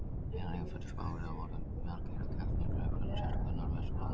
Hinir innfæddu Spánverjar voru margir af keltneskum uppruna sérstaklega á Norðvestur-Spáni.